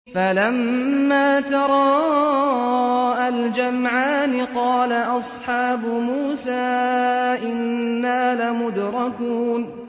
فَلَمَّا تَرَاءَى الْجَمْعَانِ قَالَ أَصْحَابُ مُوسَىٰ إِنَّا لَمُدْرَكُونَ